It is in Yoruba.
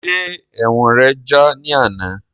Ṣe ẹ̀wọ̀n rẹ já ní àná?